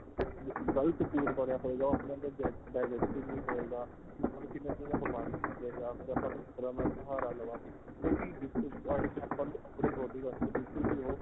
ਨਾ ਹੀ ਉਹ food ਵਧੀਆ ਹੋਏ ਗਾ ਉਹ ਆਪਣੇ ਅੰਦਰ digest ਹੀ ਨਹੀਂ ਹੋਏਗਾ ਆਪਾਂ ਨੂੰ ਕਿੰਨੇ ਤਰ੍ਹਾਂ ਦੀ ਬਿਮਾਰੀਆਂ ਦੇ ਗਾ ਫਿਰ ਆਪਾਂ ਸਹਾਰਾ ਲਵਾਗੇ ਉਹ ਵੀ ਜਿਸ ਜਿਸ point ਤੇ ਆਪਾਂ ਨੂੰ ਆਪਣੀ body ਵਾਸਤੇ ਬਿਲਕੁਲ ਵੀ ਉਹ